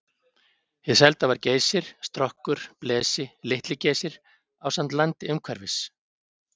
Hið selda var Geysir, Strokkur, Blesi, Litli-Geysir ásamt landi umhverfis.